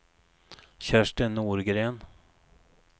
Kerstin Norgren